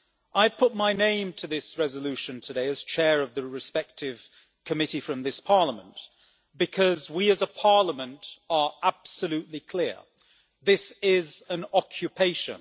I have put my name to this resolution today, as chair of the respective committee from this Parliament, because we as a parliament are absolutely clear this is an occupation.